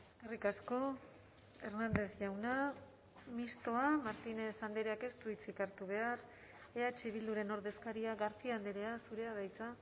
eskerrik asko hernández jauna mistoa martínez andreak ez du hitzik hartu behar eh bilduren ordezkaria garcía andrea zurea da hitza